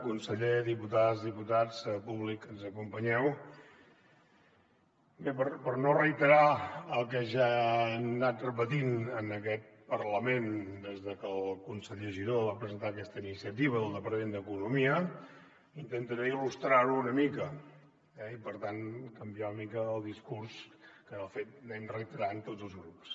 conseller diputades diputats públic que ens acompanyeu bé per no reiterar el que ja hem anat repetint en aquest parlament des de que el conseller giró va presentar aquesta iniciativa del departament d’economia intentaré il·lustrar ho una mica eh i per tant canviar una mica el discurs que de fet anem reiterant tots els grups